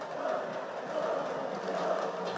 Qarabağ!